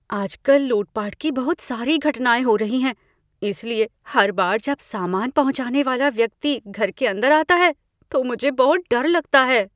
आजकल लूटपाट की बहुत सारी घटनाएँ हो रही हैं, इसलिए हर बार जब सामान पहुंचाने वाला व्यक्ति घर के अंदर आता है तो मुझे बहुत डर लगता है।